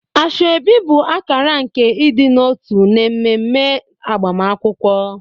Asoebi bụ akara nke ịdị n'otu n'ememe agbamakwụkwọ.